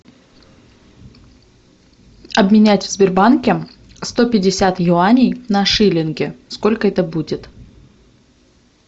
обменять в сбербанке сто пятьдесят юаней на шиллинги сколько это будет